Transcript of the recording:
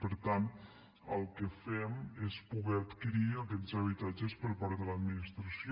per tant el que fem és poder adquirir aquests habitatges per part de l’administració